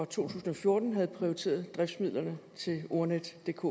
tusind og fjorten havde prioriteret driftsmidlerne til ordnetdk